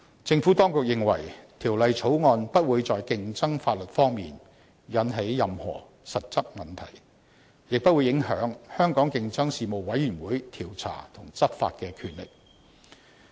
政府當局認為《條例草案》不會在競爭法例方面，引起任何實質問題，亦不會影響香港競爭事務委員的調查及執法權力。